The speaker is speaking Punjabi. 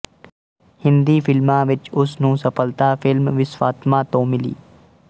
ਹਿੰਦੀ ਫ਼ਿਲਮਾਂ ਵਿੱਚ ਉਸ ਨੂੰ ਸਫ਼ਲਤਾ ਫ਼ਿਲਮ ਵਿਸ਼ਵਾਤਮਾ ਤੋਂ ਮਿਲੀ